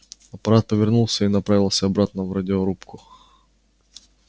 апорат повернулся и направился обратно в радиорубку